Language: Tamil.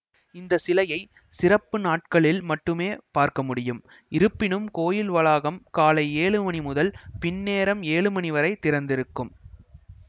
இந்த சிலையை சிறப்பு நாட்களில் மட்டுமே பார்க்க முடியும் இருப்பினும் கோயில் வளாகம் காலை ஏழு மணி முதல் பின்னேரம் ஏழு மணிவரை திறந்திருக்கும்